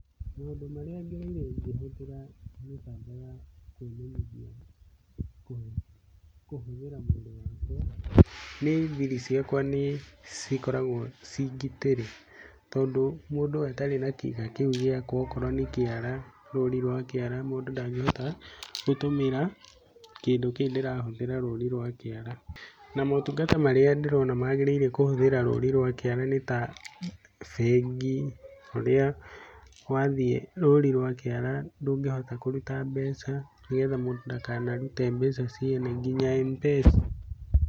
Maũndũ marĩa ngereire ngĩhũthira mĩtambo ya kwĩmenyithia kũhũthĩra mwĩri wakwa, nĩ thiri ciakwa nĩ cikoragwo ciĩ ngitĩre. Tondũ mũndũ atarĩ na kĩga kĩu gĩakwa okorwo nĩ kĩara rũri rwa kĩara mũndũ ndangĩhota gũtũmĩra kĩndũ kĩu ndĩrahũthĩra rũri rwa kĩara. Na motungata marĩa ndĩrona magĩrĩire kũhũthĩra rũri rwa kĩara nĩ ta bengi, ũrĩa wathiĩ rũri rwa kĩara ndũngĩhota kũruta mbeca, nĩ getha mũndũ ndakanarute mbeca ciene nginya M-Pesa.